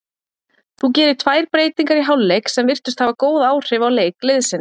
Þú gerir tvær breytingar í hálfleik sem virtust hafa góð áhrif á leik liðsins?